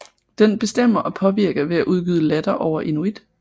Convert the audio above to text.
Den bestemmer og påvirker ved at udgyde latter over inuit